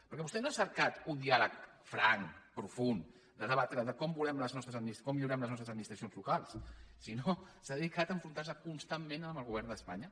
perquè vostè no ha cercat un diàleg franc profund de debatre com volem com millorem les nostres administracions locals sinó que s’ha dedicat a enfrontar se constantment amb el govern d’espanya